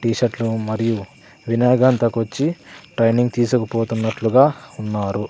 T shirt లు మరియు వినయగాంతకు వచ్చి ట్రైనింగ్ తీసుకపోతున్నట్లుగా ఉన్నారు.